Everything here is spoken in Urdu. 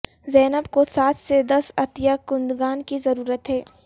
زینب کو سات سے دس عطیہ کنندگان کی ضرورت ہے